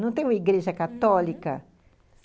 Não tem uma igreja católica? uhum.